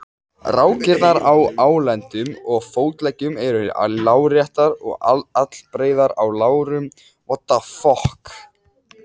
Rákirnar á á lendum og fótleggjum eru láréttar og allbreiðar á lærum og lendum.